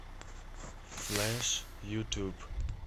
флэш ютуб